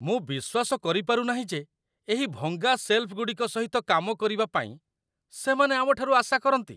ମୁଁ ବିଶ୍ୱାସ କରିପାରୁନାହିଁ ଯେ ଏହି ଭଙ୍ଗା ସେଲଫ୍‌ଗୁଡ଼ିକ ସହିତ କାମ କରିବା ପାଇଁ ସେମାନେ ଆମଠାରୁ ଆଶା କରନ୍ତି ।